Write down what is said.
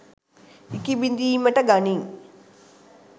ඉකිබිඳීමට ගනී